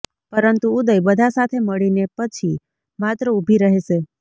પરંતુ ઉદય બધા સાથે મળીને પછી માત્ર ઊભી રહેશે